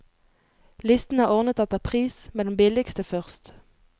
Listen er ordnet etter pris, med den billigste først.